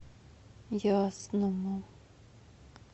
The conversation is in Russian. ясному